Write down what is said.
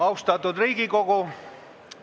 Austatud Riigikogu!